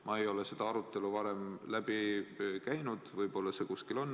Ma ei ole seda arutelu varem läbi käinud, võib-olla on see kuskil olnud.